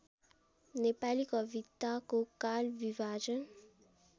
नेपाली कविताको कालविभाजन